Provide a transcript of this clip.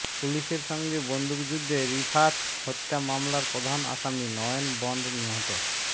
পুলিশের সঙ্গে বন্দুকযুদ্ধে রিফাত হত্যা মামলার প্রধান আসামি নয়ন বন্ড নিহত